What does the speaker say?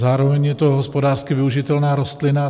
Zároveň je to hospodářsky využitelná rostlina.